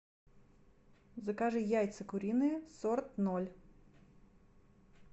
закажи яйца куриные сорок ноль